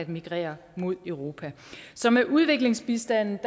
migrere mod europa så med udviklingsbistanden